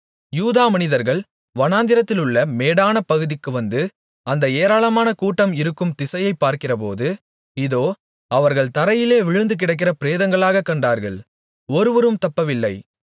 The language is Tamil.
யூதா மனிதர்கள் வனாந்திரத்திலுள்ள மேடான பகுதிக்கு வந்து அந்த ஏராளமான கூட்டம் இருக்கும் திசையைப் பார்க்கிறபோது இதோ அவர்கள் தரையிலே விழுந்துகிடக்கிற பிரேதங்களாகக் கண்டார்கள் ஒருவரும் தப்பவில்லை